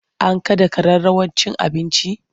An kada kararrawar cin abincin?